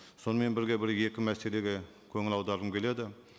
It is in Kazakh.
сонымен бірге бір екі мәселеге көңіл аударғым келеді